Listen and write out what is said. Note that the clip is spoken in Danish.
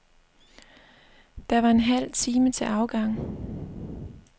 Der var en halv time til afgang.